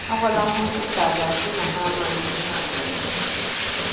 Agwala ha okwu ka à ga - asị na ha amaghị ihe ha na - eme.